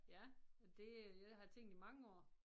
Ja og det det har jeg tænkt i mange år